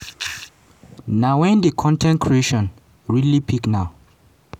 na wen di con ten t creation really pick na